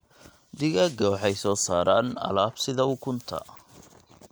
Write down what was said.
Digaagga waxay soo saaraan alaab sida ukunta.